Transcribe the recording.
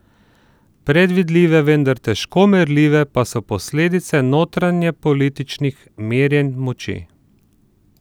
Predvidljive, vendar težko merljive pa so posledice notranjepolitičnih merjenj moči.